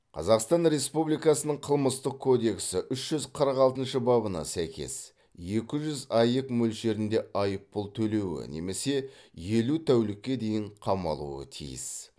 қазақстан республикасының қылмыстық кодексі үш жүз қырық алтыншы бабына сәйкес екі жүз аек мөлшерінде айыппұл төлеуі немесе елу тәулікке дейін қамалуы тиіс